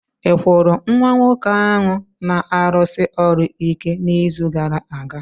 Ị kwụrụ nwa nwoke ahụ na-arụsi ọrụ ike n'izu gara aga?